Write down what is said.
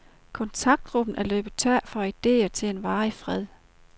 Kontaktgruppen er løbet tør for ideer til en varig fred.